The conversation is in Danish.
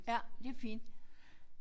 Ja det fint